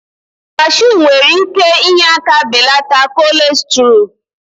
Cashu nwere ike inye aka belata kolestrool.